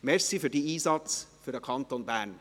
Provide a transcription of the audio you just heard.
Danke für Ihren Einsatz für den Kanton Bern.